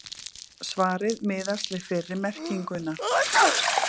Svarið miðast við fyrri merkinguna.